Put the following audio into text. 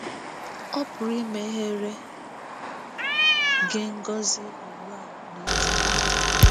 Ọ pụrụ imeghere gị ngọzi ugbu a na n'ọdịnihu.